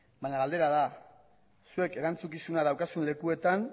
baina galdera da zuek erantzukizuna daukazuen lekuetan